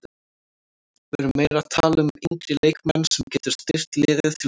Við erum meira að tala um yngri leikmann sem getur styrkt liðið til framtíðar.